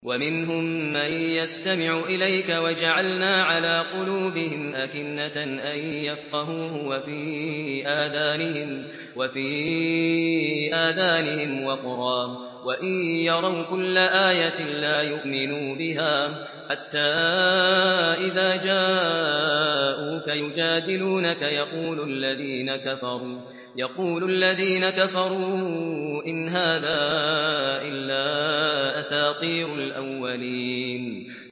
وَمِنْهُم مَّن يَسْتَمِعُ إِلَيْكَ ۖ وَجَعَلْنَا عَلَىٰ قُلُوبِهِمْ أَكِنَّةً أَن يَفْقَهُوهُ وَفِي آذَانِهِمْ وَقْرًا ۚ وَإِن يَرَوْا كُلَّ آيَةٍ لَّا يُؤْمِنُوا بِهَا ۚ حَتَّىٰ إِذَا جَاءُوكَ يُجَادِلُونَكَ يَقُولُ الَّذِينَ كَفَرُوا إِنْ هَٰذَا إِلَّا أَسَاطِيرُ الْأَوَّلِينَ